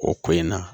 O ko in na